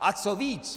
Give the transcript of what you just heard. A co víc!